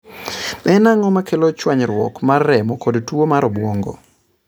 En ang'o makelo chwanyruok mar remo kod tuwo mar obwongo?